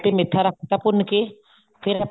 ਤੇ ਮੇਥਾ ਰੱਖ ਤਾਂ ਭੁੰਨ ਕੇ ਫ਼ੇਰ